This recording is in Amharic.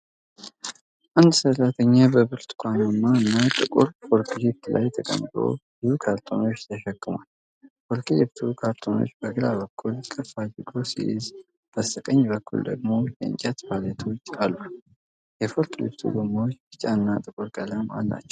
አንድ ሠራተኛ በብርቱካናማና ጥቁር ፎርክሊፍት ላይ ተቀምጦ ብዙ ካርቶኖችን ተሸክሟል። ፎርክሊፍቱ ካርቶኖቹን በግራ በኩል ከፍ አድርጎ ሲይዝ በስተቀኝ በኩል ደግሞ የእንጨት ፓሌቶች አሉ። የፎርክሊፍቱ ጎማዎች ቢጫ እና ጥቁር ቀለም አላቸው።